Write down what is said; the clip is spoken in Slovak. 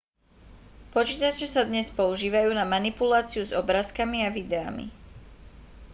počítače sa dnes používajú na manipuláciu s obrázkami a videami